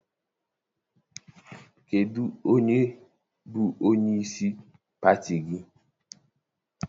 Kedụ onye bụ onyeisi pati gị?